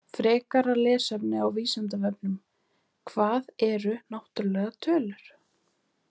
Frekara lesefni á Vísindavefnum: Hvað eru náttúrlegar tölur?